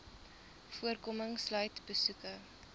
voorkoming sluit besoeke